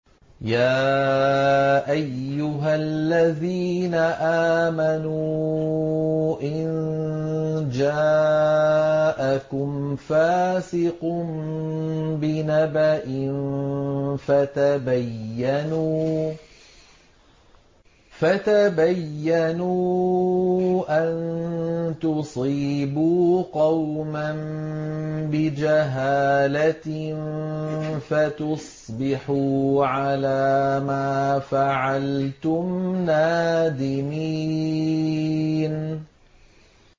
يَا أَيُّهَا الَّذِينَ آمَنُوا إِن جَاءَكُمْ فَاسِقٌ بِنَبَإٍ فَتَبَيَّنُوا أَن تُصِيبُوا قَوْمًا بِجَهَالَةٍ فَتُصْبِحُوا عَلَىٰ مَا فَعَلْتُمْ نَادِمِينَ